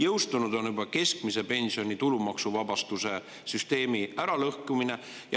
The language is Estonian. Juba on jõustunud keskmise pensioni tulumaksuvabastuse süsteemi äralõhkumine.